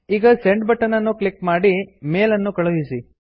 ಈಗ send button ಅನ್ನು click ಮಾಡಿ ಮೇಲ್ ಅನ್ನು ಕಳುಹಿಸಿ